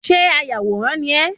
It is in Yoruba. Ṣé ayàwòrán ni ẹ́?